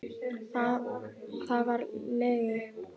Það var lygi.